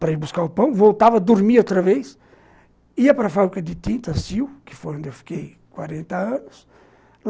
para ir buscar o pão, voltava, dormia outra vez, ia para a fábrica de tinta Sil, que foi onde eu fiquei 40 anos.